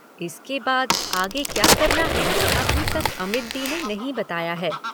इसके बाद आगे क्या करना है, अभी तक अमित दी ने नहीं बताया है।